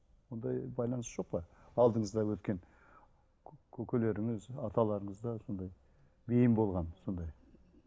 ондай байланыс жоқ па алдыңызда өткен көкелеріңіз аталарыңызда сондай бейім болған сондай